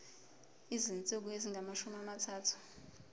izinsuku ezingamashumi amathathu